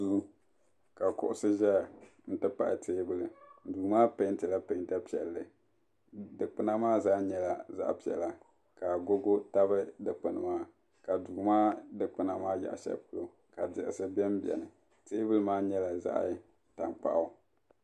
Duu ka kuɣusi zaya n ti pahi teebuli duu maa pɛɛnti la pɛɛnta piɛlli dikpuna maa zaa nyɛla zaɣa piɛla ka agogo tabi dikpuni maa ka duu maa dikpuna maa yaɣa shɛli polo ka diɣisi bɛ n bɛni teebuli maa nyɛla zaɣa tankpaɣu.